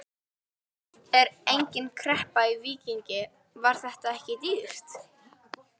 Er engin kreppa í Víkingi, var þetta ekki dýrt?